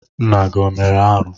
Nna gị o mere arụ?